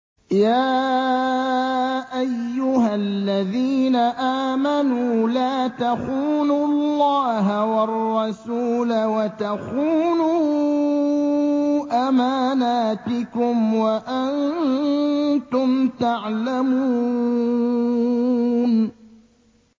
يَا أَيُّهَا الَّذِينَ آمَنُوا لَا تَخُونُوا اللَّهَ وَالرَّسُولَ وَتَخُونُوا أَمَانَاتِكُمْ وَأَنتُمْ تَعْلَمُونَ